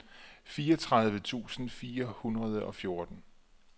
fireogtredive tusind fire hundrede og fjorten